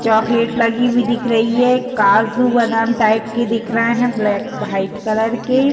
Chocolate लगी हुई दिख रही है। काजू बादाम टाइप के दिख रहें हैं। ब्लैक भाइट कलर के --